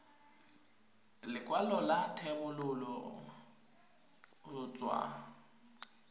lekwalo la thebolo go tswa